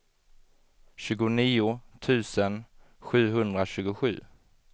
tjugonio tusen sjuhundratjugosju